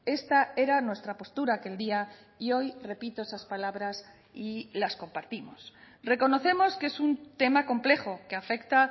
esta era nuestra postura aquel día y hoy repito esas palabras y las compartimos reconocemos que es un tema complejo que afecta